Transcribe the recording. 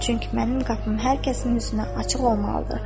Çünki mənim qapım hər kəsin üzünə açıq olmalıdır.